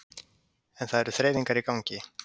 Kristján Már: En það eru þreifingar í gangi?